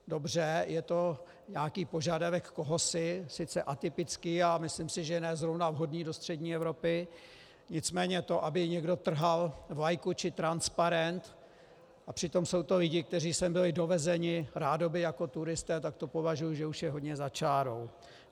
Dobře, je to nějaký požadavek kohosi, sice atypický a myslím si, že ne zrovna vhodný do střední Evropy, nicméně to, aby někdo trhal vlajku či transparent, a přitom jsou to lidé, kteří sem byli dovezeni rádoby jako turisté, tak to považuji, že už je hodně za čárou.